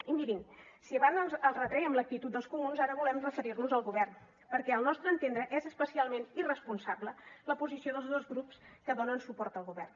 i mirin si abans els retrèiem l’actitud dels comuns ara volem referir nos al govern perquè al nostre entendre és especialment irresponsable la posició dels dos grups que donen suport al govern